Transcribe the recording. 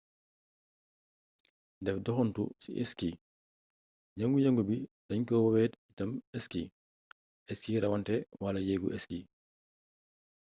def doxuntu ci ski yëngu-yëngu bii dañ koy woowee itam ski ski rawante wala yeegu ski